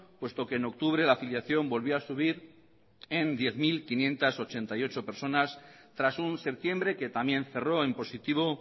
puesto que en octubre la afiliación volvió a subir en diez mil quinientos ochenta y ocho personas tras un septiembre que también cerró en positivo